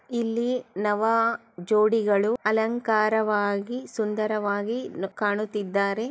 ಇಲ್ಲಿ ನವ ಜೋಡಿಗಳು ಅಲಂಕಾರವಾಗಿ ಸುಂದರವಾಗಿ ನ್ ಕಾಣುತ್ತಿದ್ದಾರೆ .